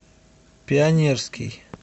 пионерский